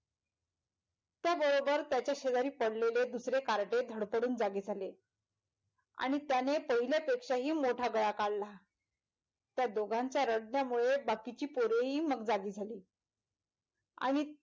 त्या बरोबर त्याच्या शेजारी पडलेले दुसरे कार्टे धडपडून जागे झाले आणि त्याने पहिल्या पेक्षा हि मोठा गळा काढला त्या दोघांच्या रडण्यामुळे बाकीची पोरेही मग जागी झाली आणि,